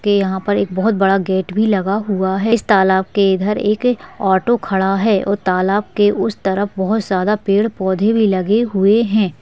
के यहाँ पर एक बहोत बड़ा गेट भी लगा हुआ है इस तालाब के इधर एक ऑटो खड़ा है और तालाब के उस तरफ बहुत ज्यादा पेड़-पौधे भी लगे हुए हैं।